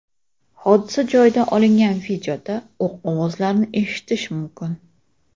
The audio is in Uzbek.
Hodisa joyidan olingan videoda o‘q ovozlarini eshitish mumkin.